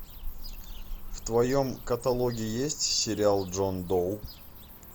в твоем каталоге есть сериал джон доу